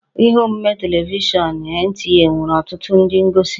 Ihe omume telivishọn NTA nwere ọtụtụ ndị ngosi